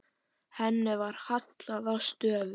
Henni var hallað að stöfum.